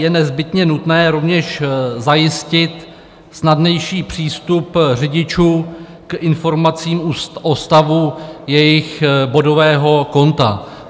Je nezbytně nutné rovněž zajistit snadnější přístup řidičů k informacím o stavu jejich bodového konta.